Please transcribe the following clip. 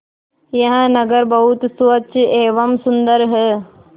यह नगर बहुत स्वच्छ एवं सुंदर है